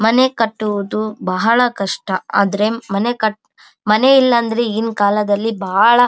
ಮನೆ ಕಟ್ಟುವುದು ಬಹಳ ಕಷ್ಟ ಆದ್ರೆ ಮನೆ ಕಟ್ ಮನೆ ಇಲ್ಲಾದ್ರೆ ಈಗಿನ್ ಕಾಲದಲ್ಲಿ ಬಹಳ --